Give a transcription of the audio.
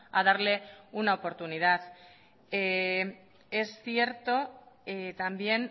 a darle una oportunidad es cierto también